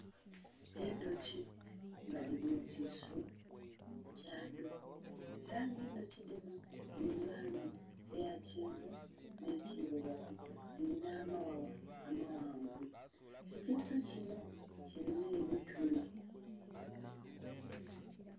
Endhuki nga dhili mu kisuu kya dho era nga endhuki dhino dhili mu langi eya kyenvu nhe kirugavu dhilina amaghagha amaghanvu, ekisuu inho kilinha ebimuli.